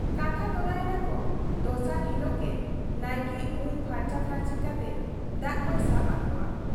ᱠᱟᱛᱷᱟ ᱛᱚᱨᱟ ᱮᱱᱟ ᱠᱚ ᱫᱚᱥᱟᱨ ᱦᱤᱞᱚᱜ ᱜᱮ ᱱᱟᱭᱠᱮ ᱩᱢ ᱯᱷᱟᱨᱪᱟ ᱯᱷᱟᱨᱪᱤ ᱠᱟᱛᱮ ᱫᱟᱜ ᱠᱚᱭ ᱥᱟᱵ ᱟᱠᱚᱣᱟ ᱾